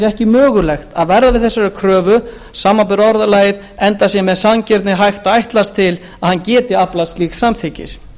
ekki mögulegt að verða við þessari kröfu samanber orðalagið enda sé með sanngirni hægt að ætlast til að hann hafi getað aflað slíks samþykkis